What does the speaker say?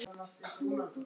lega klofi.